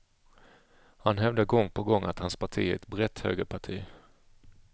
Han hävdar gång på gång att hans parti är ett brett högerparti.